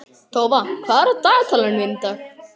Tófa, hvað er á dagatalinu mínu í dag?